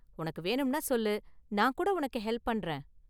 உனக்கு வேணும்னா சொல்லு, நான் கூட உனக்கு ஹெல்ப் பண்றேன்.